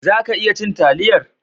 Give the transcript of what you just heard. Za ka iya cin taliyar?